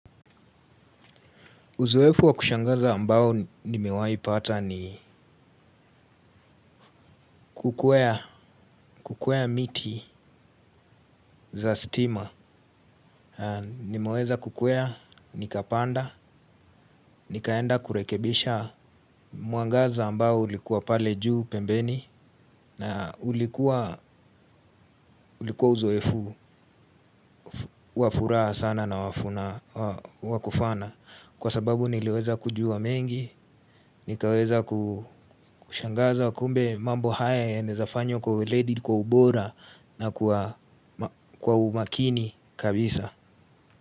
Uzoefu wa kushangaza ambao nimewaipata ni kukwea miti za stima. Nimeweza kukwea, nikapanda, nikaenda kurekebisha mwangaza ambao ulikuwa pale juu pembeni. Na ulikuwa uzoefu wa furaha sana na wa funa wa kufana. Kwa sababu niliweza kujua mengi, nikaweza kushangaza kumbe mambo haya yanaezafanywa kwa uledi, kwa ubora. Na kwa umakini kabisa.